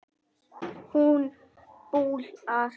Hún dula.